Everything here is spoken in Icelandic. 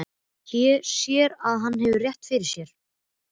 Sér að hann hefur rétt fyrir sér.